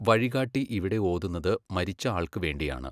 വഴികാട്ടി ഇവിടെ ഓതുന്നത് മരിച്ച ആൾക്ക് വേണ്ടിയാണ്.